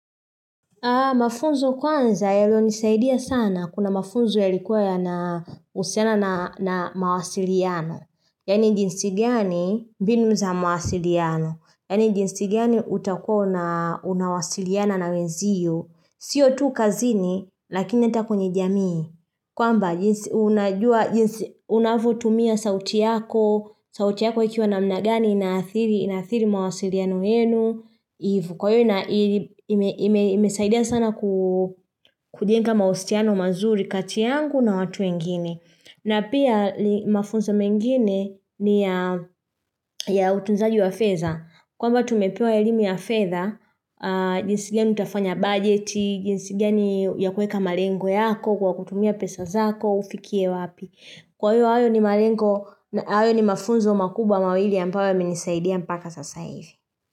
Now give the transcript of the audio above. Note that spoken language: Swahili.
Mafunzo kwanza yalio nisaidia sana kuna mafunzo ya likuwa ya na usiana na naa mawasiliano. Yani jinsi gani mbinu za mawasiliano. Yani jinsi gani utakua una unawasiliana na wenziyo. Sio tu kazini lakini ata kwenye jamii. Kwamba jinsi unajua jinsi unavyotumia sauti yako. Sauti yako ikiwa na mnagani inathiri inathiri mawasiliano yenu. Hivo, kwa hio, imesaidia sana kujenga mahustiano mazuri kati yangu na watu wengine na pia mafunzo mengine ni ya ya utunzaji wa feza kwamba tumepewa elimu ya fedha, jinsi gani utafanya budgeti, jinsi gani ya kueka malengo yako kwa kutumia pesa zako, ufikie wapi kwa hio, ayo ni malengo ayo ni mafunzo makubwa mawili ambayo ya menisaidia mpaka sasa hivi.